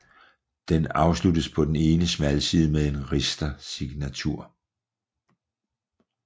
Den afsluttes på den ene smalside med en ristersignatur